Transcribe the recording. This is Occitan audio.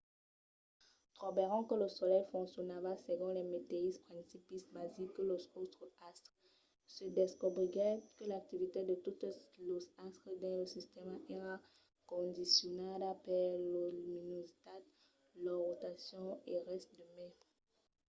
trobèron que lo solelh foncionava segon los meteisses principis basics que los autres astres: se descobriguèt que l’activitat de totes los astres dins lo sistèma èra condicionada per lor luminositat lor rotacion e res de mai